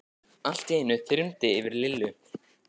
Allt í einu þyrmdi yfir Lillu.